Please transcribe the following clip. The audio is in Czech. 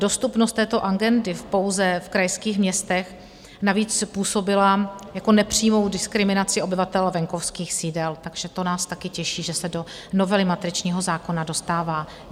Dostupnost této agendy pouze v krajských městech navíc působila jako nepřímá diskriminace obyvatel venkovských sídel, takže to nás také těší, že se do novely matričního zákona dostává.